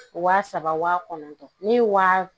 Wa saba wa kɔnɔntɔn ne ye waa